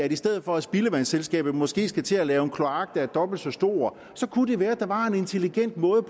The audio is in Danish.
i stedet for at spildevandsselskabet måske skal til at lave en kloak der er dobbelt så stor kunne det være at der var en intelligent måde